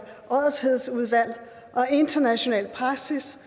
international praksis